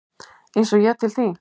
Eins og ég til þín?